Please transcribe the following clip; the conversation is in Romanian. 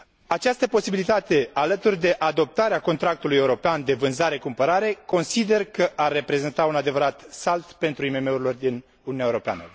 Această posibilitate, alături de adoptarea contractului european de vânzare cumpărare, consider că ar reprezenta un adevărat salt pentru IMM urile din Uniunea Europeană.